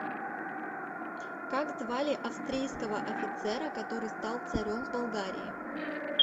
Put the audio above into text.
как звали австрийского офицера который стал царем в болгарии